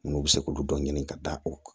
N'u bɛ se k'olu dɔ ɲini ka da o kan